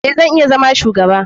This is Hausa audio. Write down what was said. Eh, zan iya zama shugaba.